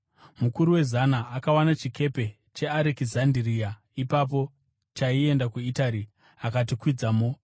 Mukuru wezana akawana chikepe cheArekizandiria ipapo chaienda kuItari akatikwidzamo.